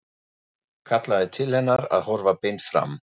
Kallaði til hennar að horfa beint fram.